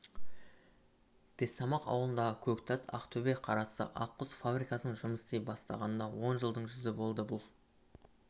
бестамақ ауылындағы көктас ақтөбе қарасты ақ құс фабрикасының жұмыс істей бастағанына он жылдың жүзі болды бұл